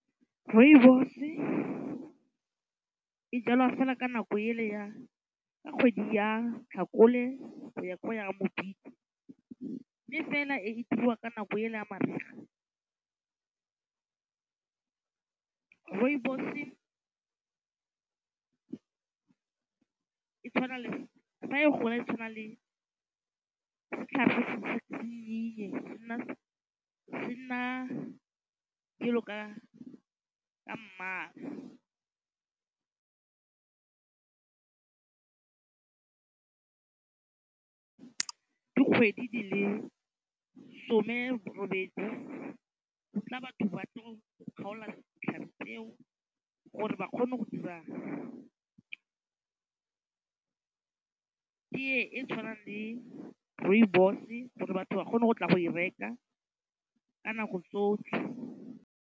Rooibos-e e jalwa fela ka nako e le ya ka kgwedi ya tlhakole ya go ya mme fela e diriwa ka nako ele ya mariga. Rooibos-e e tshwana le, fa e gola e tshwana le setlhare se nna yellow ka mmala dikgwedi di le some robedi go tla batho ba tlo go kgaola ditlhare tseo gore ba kgone go dira tee e tshwanang le rooibos-e gore batho ba kgone go tla go e reka ka nako tsotlhe.